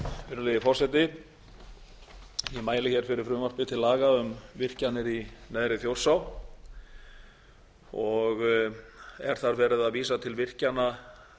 virðulegi forseti ég mæli fyrir frumvarpi til laga um virkjanir í neðri þjórsá og er þar verið að vísa til virkjana